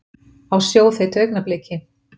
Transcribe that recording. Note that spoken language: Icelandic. Á sjóðheitu augnabliki.